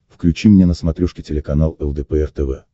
включи мне на смотрешке телеканал лдпр тв